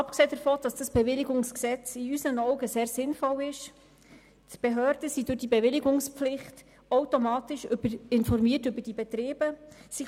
Abgesehen davon, dass das Bewilligungsgesetz in unseren Augen sehr sinnvoll ist, sind die Behörden durch dieses Gesetz automatisch über die Betriebe informiert.